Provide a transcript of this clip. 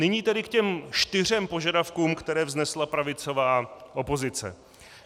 Nyní tedy k těm čtyřem požadavkům, které vznesla pravicová opozice.